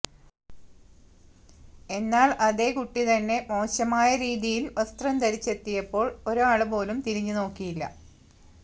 എന്നാൽ അതേ കുട്ടിതന്നെ മോശമായ രീതിയിൽ വസ്ത്രം ധരിച്ചെത്തിയപ്പോൾ ഒരാളുപോലും തിരിഞ്ഞു നോക്കിയില്ല